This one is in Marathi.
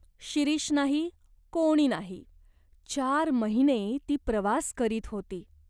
शिरीष नाही, कोणी नाही. चार महिने ती प्रवास करीत होती.